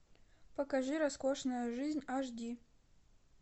покажи роскошная жизнь аш ди